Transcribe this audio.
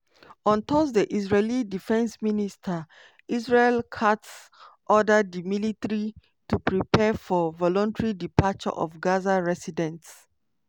on thursday israeli defence minister israel katz order di military to prepare for "voluntary departure" of gaza residents.